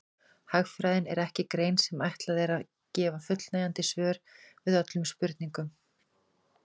Hagfræðin er ekki grein sem ætlað er að gefa fullnægjandi svör við öllum spurningum.